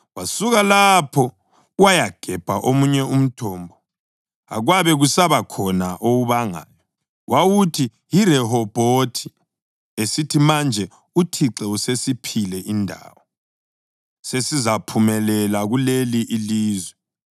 Wasuka lapho wayagebha omunye umthombo, akwabe kusaba khona owubangayo. Wawuthi yiRehobhothi, esithi, “Manje uThixo usesiphile indawo, sesizaphumelela kuleli ilizwe.”